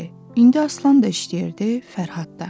İndi Aslan da işləyirdi, Fərhad da.